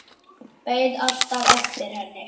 Beið alltaf eftir henni.